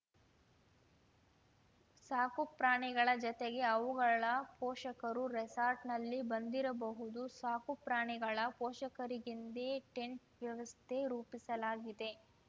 ಸಾಕುಪ್ರಾಣಿಗಳ ಜತೆಗೆ ಅವುಗಳ ಪೋಷಕರೂ ರೆಸಾರ್ಟ್‌ನಲ್ಲಿ ಬಂದಿರಬಹುದು ಸಾಕುಪ್ರಾಣಿಗಳ ಪೋಷಕರಿಗೆಂದೇ ಟೆಂಟ್‌ ವ್ಯವಸ್ಥೆ ರೂಪಿಸಲಾಗಿದೆ